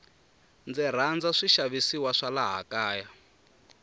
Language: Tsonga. ndzi rhandza swi xavisiwa swa laha kaya